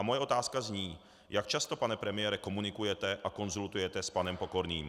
A moje otázka zní: Jak často, pane premiére, komunikujete a konzultujete s panem Pokorným?